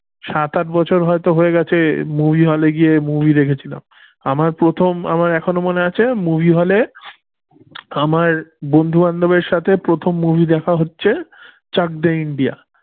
সাত আট বছর হয়ত হয়ে গেছে movie হলে গিয়ে movie দেখেছিলাম আমার প্রথম আমার এখনো মনে আছে movie hall এ আমার বন্ধু বান্ধবের সাথে প্রথম movie দেখা হচ্ছে চাকদে ইন্ডিয়া।